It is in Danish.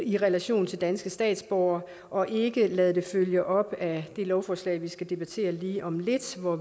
i relation til danske statsborgere og ikke ved at lade det følge op af det lovforslag vi skal debattere lige om lidt hvor